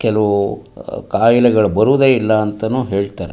ಕೆಲವು ಕಾಯಿಲೆಗಳು ಬರುವುದೇ ಇಲ್ಲ ಅಂತಾನೂ ಹೇಳ್ತಾರೆ.